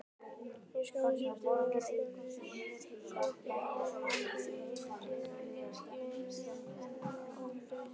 Í samskiptum okkar var ég gefandi en ekki eigingjarn, aldrei því vant.